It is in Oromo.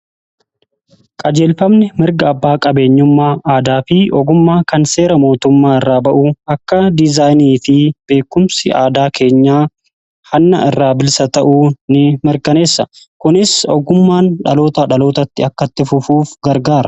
Qajeelfamni mirga abbaa qabeenyummaa aadaa fi ogummaa kan seera mootummaa irraa ba'u akka dizaayinii fi beekumsi aadaa keenya hanna irraa bilisa ta'uu in mirganeessa. kunis ogummaan dhaloota dhalootatti akkatti fufuuf gargaara.